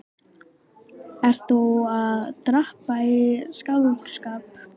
Ert þú enn að drabba í skáldskap?